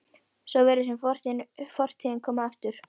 Svo virðist sem fortíðin komi aftur.